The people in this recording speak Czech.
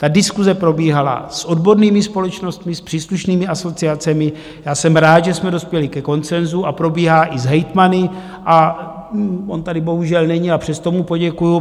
Ta diskuse probíhala s odbornými společnostmi, s příslušnými asociacemi, já jsem rád, že jsme dospěli ke konsenzu, a probíhá i s hejtmany - on tady bohužel není, a přesto mu poděkuji.